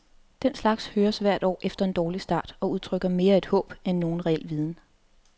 Den slags høres hvert år efter en dårlig start, og udtrykker mere et håb end nogen reel viden.